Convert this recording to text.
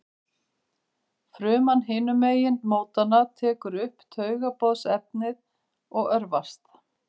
Fruman hinum megin mótanna tekur upp taugaboðefnið og örvast.